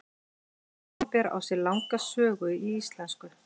Orðið vínber á sér langa sögu í íslensku.